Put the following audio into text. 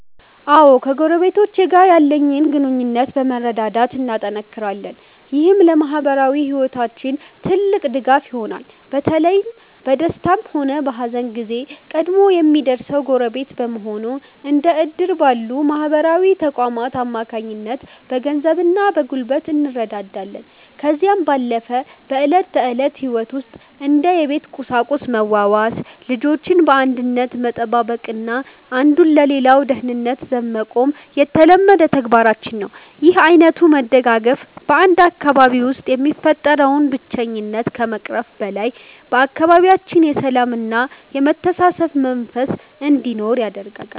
አዎ ከጎረቤቶቼ ጋር ያለን ግንኙነት በመረዳዳት እናጠናክራለን። ይህም ለማኅበራዊ ሕይወታችን ትልቅ ድጋፍ ይሆነናል። በተለይ በደስታም ሆነ በሐዘን ጊዜ ቀድሞ የሚደርሰው ጎረቤት በመሆኑ፤ እንደ ዕድር ባሉ ማኅበራዊ ተቋማት አማካኝነት በገንዘብና በጉልበት እንረዳዳለን። ከዚህም ባለፈ በዕለት ተዕለት ሕይወት ውስጥ እንደ የቤት ቁሳቁስ መዋዋስ፤ ልጆችን በአንድነት መጠባበቅና አንዱ ለሌላው ደህንነት ዘብ መቆም የተለመደ ተግባራችን ነው። ይህ ዓይነቱ መደጋገፍ በ 1 አካባቢ ውስጥ የሚፈጠረውን ብቸኝነት ከመቅረፉም በላይ፤ በአካባቢያችን የሰላምና የመተሳሰብ መንፈስ እንዲኖር ያደርጋል።